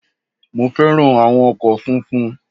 Mo fẹ́ràn áwọn ọkò funfun